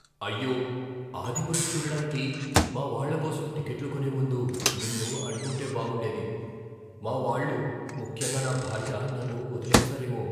అయ్యో! "ఆదిపురుష్" చూడటానికి మా వాళ్ళ కోసం టిక్కెట్లు కొనే ముందు నిన్ను అడిగుంటే బాగుండేది. మా వాళ్ళు, ముఖ్యంగా నా భార్య నన్ను వదిలేస్తారెమో.